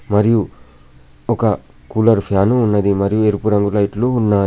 మరియు ఒక cooler fan ఉన్నది. మరియు ఎరుపు రంగు లైట్లు ఉన్నాయి.